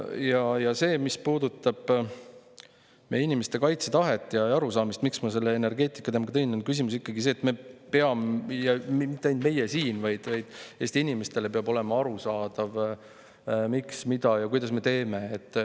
Aga see, mis puudutab meie inimeste kaitsetahet ja arusaamist – miks ma selle energeetikateema ka välja tõin –, on ikkagi see, et meile, ja mitte ainult meile siin, vaid Eesti inimestele peab olema arusaadav, miks, mida ja kuidas me teeme.